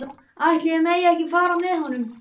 Ætli ég megi ekki fara með honum?